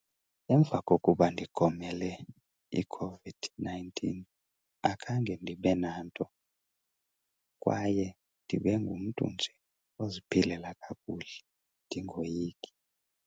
Emva kokuba ndigomele iCOVID-nineteen akhange ndibe nanto kwaye ndibe ngumntu nje oziphilela kakuhle ndingoyiki.